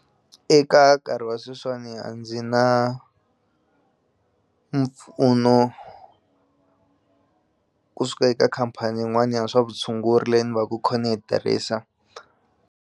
Eka nkarhi wa sweswiwani a ndzi na mpfuno kusuka eka khampani yin'wani ya swa vutshunguri leyi ni va ku kho ni yi tirhisa.